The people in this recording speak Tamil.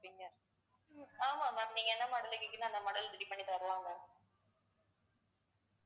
உம் ஆமா ma'am நீங்க என்ன model ல கேட்கறீங்களோ அந்த model ready பண்ணித்தரலாம் ma'am